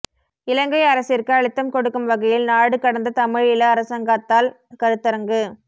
இலங்கை அரசிற்கு அழுத்தம் கொடுக்கும் வகையில் நாடு கடந்த தமிழீழ அரசாங்கத்தால் கருத்தரங்கு